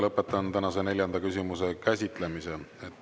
Lõpetan tänase neljanda küsimuse käsitlemise.